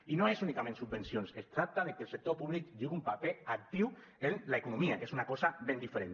i no és únicament subvencions es tracta de que el sector públic jugui un paper actiu en l’economia que és una cosa ben diferent